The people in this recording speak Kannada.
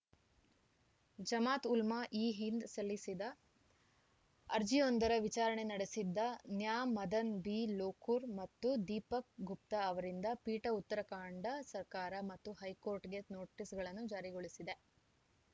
ಜಮಾತ್‌ ಉಲ್ಮಾ ಇ ಹಿಂದ್‌ ಸಲ್ಲಿಸಿದ್ದ ಅರ್ಜಿಯೊಂದರ ವಿಚಾರಣೆ ನಡೆಸಿದ ನ್ಯಾ ಮದನ್‌ ಬಿ ಲೋಕುರ್‌ ಮತ್ತು ದೀಪಕ್‌ ಗುಪ್ತಾ ಅವರಿದ್ದ ಪೀಠ ಉತ್ತರಾಖಂಡ ಸರ್ಕಾರ ಮತ್ತು ಹೈಕೋರ್ಟ್‌ಗೆ ನೋಟಿಸ್‌ಗಳನ್ನು ಜಾರಿಗೊಳಿಸಿದೆ